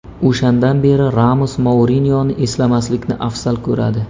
O‘shandan beri Ramos Mourinyoni eslamaslikni afzal ko‘radi.